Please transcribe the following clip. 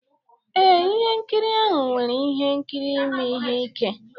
Ee, ihe nkiri ahụ nwere ihe nkiri ime ihe ike